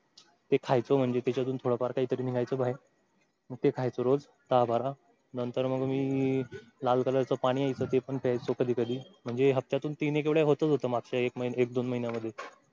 ते खायचो म्हणजे त्याच्यातून थोडंफार कायतरी निघायचं बाहेर मग ते खायचो रोज दहा बारा नंतर मग मी लाल color च पाणी यायचं ते पण प्यायचो कधी कधी म्हजे हप्त्यातून तीन एक वेळा होताच होत मागच्या एक दोन महिन्या मधून.